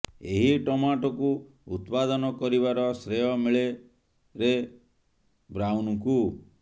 ଏହି ଟମାଟୋକୁ ଉତ୍ପାଦନ କରିବାର ଶ୍ରେୟ ମିଳେ ରେ ବ୍ରାଉନ୍ଙ୍କୁ